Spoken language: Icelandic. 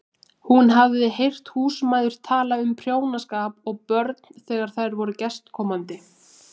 Hún hafði heyrt húsmæður tala um prjónaskap og börn þegar þær voru gestkomandi.